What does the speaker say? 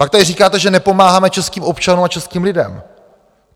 Pak tady říkáte, že nepomáháme českým občanům a českým lidem.